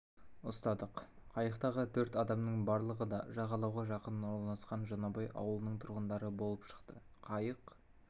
ұстадық қайықтағы төрт адамның барлығы да жағалауға жақын орналасқан жаңабай ауылының тұрғындары болып шықты қайық